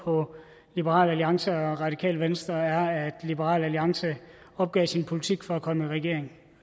på liberal alliance og det radikale venstre er at liberal alliance opgav sin politik for at komme i regering